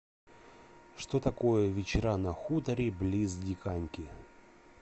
что такое вечера на хуторе близ диканьки